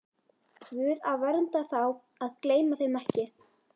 Guð að vernda þá, að gleyma þeim ekki.